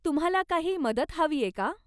तुम्हाला काही मदत हवीय का?